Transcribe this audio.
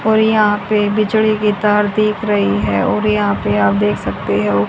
और यहां पे बिजली की तार देख रही है और यहां पे आप देख सकते हो --